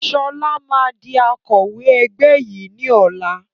Sọlá máa di Akọ̀wẹ́ ẹgbẹ́ yìí ni ọ̀la